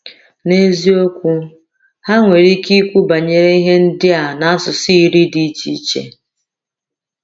N’eziokwu, ha nwere ike ikwu banyere ihe ndị a n’asụsụ iri dị iche iche.